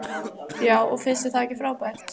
Já og finnst þér það ekki frábært?